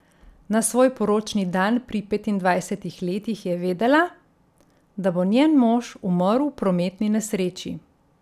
Na svoj poročni dan pri petindvajsetih letih je vedela, da bo njen mož umrl v prometni nesreči.